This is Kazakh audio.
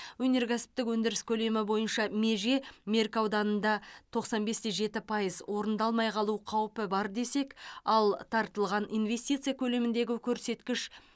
өнеркәсіптік өндіріс көлемі бойынша меже меркі ауданында тоқсан бес те жеті пайыз орындалмай қалу қаупі бар десек ал тартылған инвестиция көлеміндегі көрсеткіш